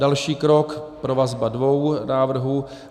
Další krok provazba dvou návrhů.